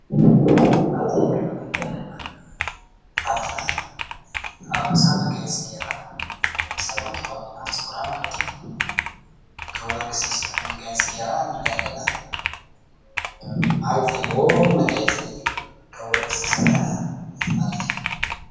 ኣብዚ ምስሊ እንተሪኦ ዘለና ድማ ሓፍትና ኣብ ርእሳ መጋየፂ ገይራ ርእሳ እውን ተቆኒና ጨጉራ ማለት እዩ፡፡ ካብ ወርቂ ዝተሰርሐ መጋየፂ ገይራ እንርኣ ኣለና። መዓርግ ዘለዎ መጋየፂ ካብ ወርቂ ዝተሰርሓ ማለት እዩ፡፡